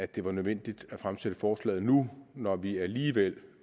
det var nødvendigt at fremsætte forslaget nu når vi alligevel